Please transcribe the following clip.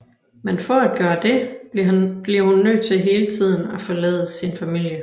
Men for at gøre det bliver hun nødt til hele tiden at forlade sin familie